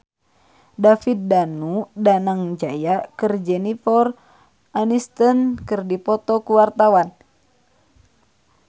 David Danu Danangjaya jeung Jennifer Aniston keur dipoto ku wartawan